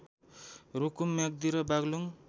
रूकुम म्याग्दि र बाग्लुङ